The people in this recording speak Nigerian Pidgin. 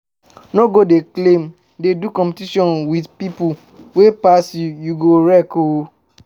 No go dey claim, dey do competition with pipo wey pass you, you go wreck oo